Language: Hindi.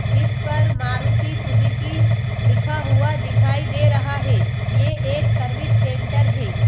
जिस पर मारुति सुजुकी लिखा हुआ दिखाई दे रहा है यह एक सर्विस सेंटर है।